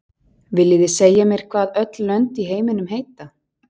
Viljið þið segja mér hvað öll lönd í heiminum heita?